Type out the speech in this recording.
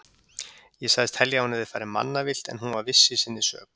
Ég sagðist telja að hún hefði farið mannavillt en hún var viss í sinni sök.